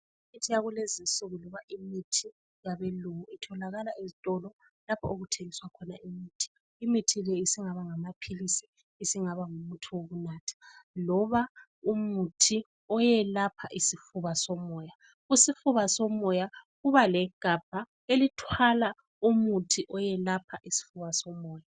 Imithi yalezinsuku iyimithi yabe lungu itholakala lapha okuthengiswa khona imithi imitho le isingaba ngamaphilizi isibgaba ngumuthi wokunatha loba umuthi olapha isifuba somoya, isifuba somoya kuba legabha elithwala umuthi oyelapha isifuba somoya.